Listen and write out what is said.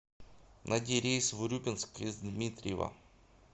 найди рейс в урюпинск из дмитриева